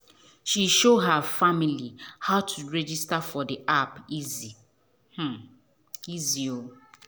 she show her family how to register for the app easy um easy.